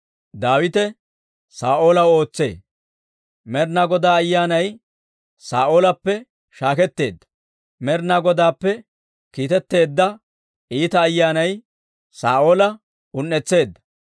Med'inaa Godaa Ayyaanay Saa'oolappe shaaketeedda; Med'inaa Godaappe kiitetteedda iita ayyaanay Saa'oola un"etseedda.